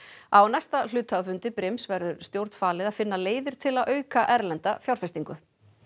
á næsta hluthafafundi brims verður stjórn falið að finna leiðir til að auka erlenda slíka fjárfestingu